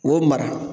K'o mara